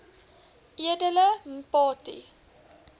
edele mpati